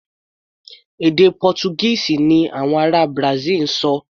Èdè Pọ́túgíìsì ni àwọn ará Brasil ń sọ.